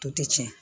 To tɛ tiɲɛ